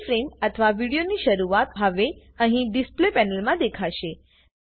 પહેલી ફ્રેમ અથવા કે વિડીયોની શરૂઆત હવે અહીં ડિસ્પ્લે પેનલમાં દેખાશે